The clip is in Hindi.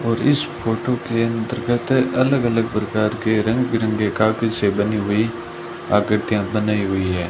और इस फोटो के अंतर्गत अलग अलग प्रकार के रंग बिरंगे कागज से बनी हुई आकृतियां बनाई हुई है।